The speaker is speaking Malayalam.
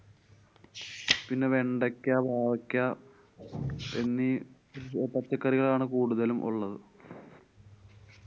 പിന്നെ വെണ്ടയ്ക്ക, പാവയ്ക്കാ, എന്നീ പച്ചക്കറികളാണ് കൂടുതലും ഉള്ളത്.